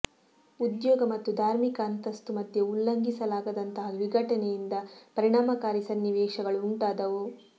ಉದ್ಯೋಗ ಮತ್ತು ಧಾರ್ಮಿಕ ಅಂತಸ್ತು ಮಧ್ಯೆ ಉಲ್ಲಂಘಿಸಲಾಗದಂತಹ ವಿಘಟನೆಯಿಂದ ಪರಿಣಾಮಕಾರಿ ಸನ್ನಿವೇಶಗಳುಂಟಾದವು